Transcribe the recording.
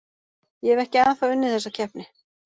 Ég hef ekki ennþá unnið þessa keppni.